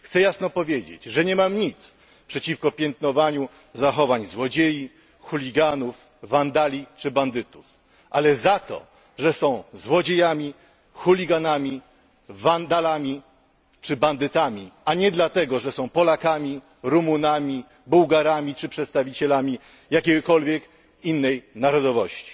Chcę jasno powiedzieć, że nie mam nic przeciwko piętnowaniu zachowań złodziei, chuliganów, wandali czy bandytów, ale za to, że są złodziejami, chuliganami, wandalami czy bandytami, a nie dlatego, że są Polakami, Rumunami, Bułgarami czy przedstawicielami jakiejkolwiek innej narodowości.